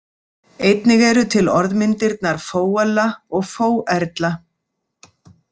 Einnig eru til orðmyndirnar fóella og fóerla.